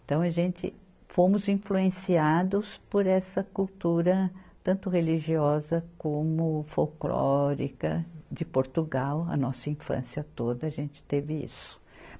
Então, a gente fomos influenciados por essa cultura tanto religiosa como folclórica de Portugal, a nossa infância toda a gente teve isso.